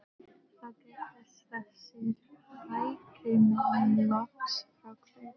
Þá gerðust þessir hægrimenn loks fráhverfir